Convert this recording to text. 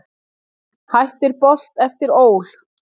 Hættir Bolt eftir ÓL